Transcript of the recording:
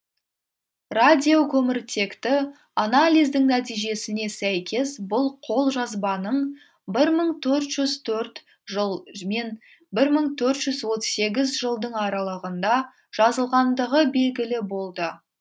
радиокөміртекті анализдің нәтижесіне сәйкес бұл қолжазбаның мың төрт жүз төртінші жыл мен мың төрт жүз отыз сегізінші жылдың аралығында жазылғандығы бегілі болды